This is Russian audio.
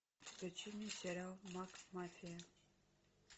включи мне сериал макмафия